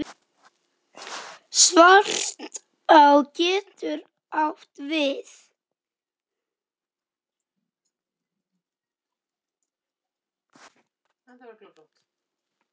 Svartá getur átt við